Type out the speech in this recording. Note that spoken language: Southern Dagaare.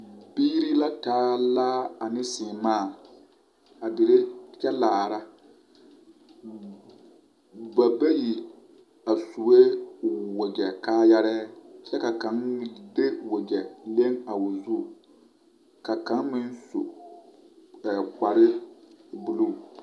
Biiri la taa laa ane sããmãã a diri kyɛ laara ba bayi a sue wakyɛ kaayɛrɛɛ ka kaŋ de wakyɛ a leŋ o zu ka kaŋ meŋ su kparre buluu.